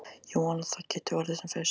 Ég vona að það geti orðið sem fyrst.